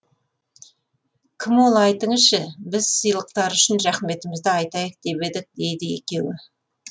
кім ол айтыңызшы біз сыйлықтары үшін рахметімізді айтайық деп едік дейді екеуі